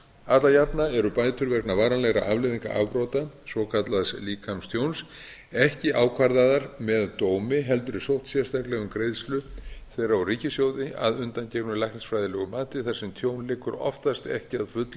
alla jafna eru bætur vegna varanlegra afleiðinga afbrota svokallaðs líkamstjóns ekki ákvarðaðar með dómi heldur er sótt sérstaklega um greiðslu þeirra úr ríkissjóði að undangengnu læknisfræðilegu mati þar sem tjón liggur oftast ekki að fullu